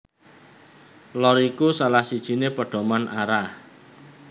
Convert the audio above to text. Lor iku salah siji pedoman arah